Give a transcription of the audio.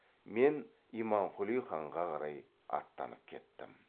мен имамқұли ханға қарай аттанып кеттім